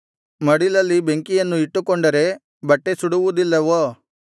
ಮಡಿಲಲ್ಲಿ ಬೆಂಕಿಯನ್ನು ಇಟ್ಟುಕೊಂಡರೆ ಬಟ್ಟೆ ಸುಡುವುದಿಲ್ಲವೋ